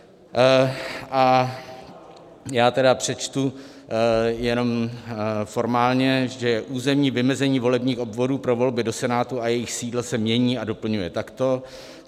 A já tedy přečtu jenom formálně, že územní vymezení volebních obvodů pro volby do Senátu a jejich sídla se mění a doplňuje takto: